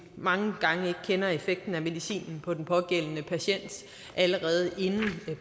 mange gange ikke kender effekten af medicinen på den pågældende patient allerede inden